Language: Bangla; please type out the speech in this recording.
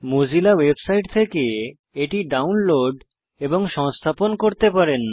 মোজিলা ওয়েবসাইট থেকে এটি ডাউনলোড এবং সংস্থাপন করতে পারেন